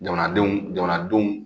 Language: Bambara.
Jamanadenw jamanadenw